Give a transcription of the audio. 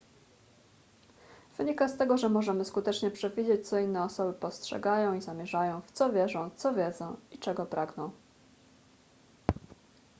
wynika z tego że możemy skutecznie przewidzieć co inne osoby postrzegają i zamierzają w co wierzą co wiedzą i czego pragną